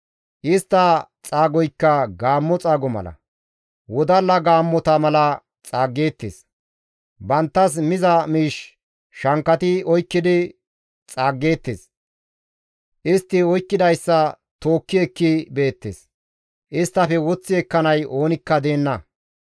Istta xaagoykka gaammo xaago mala; wodalla gaammota mala xaaggeettes; banttas miza miish shankkati oykkidi xaaggeettes; istti oykkidayssa tookki ekki beettes; isttafe woththi ekkanay oonikka deenna.